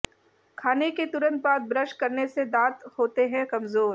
खाने के तुरंत बाद ब्रश करने से दांत होते हैं कमज़ोर